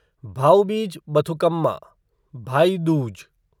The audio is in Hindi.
भाऊ बीज बथुकम्मा भाई दूज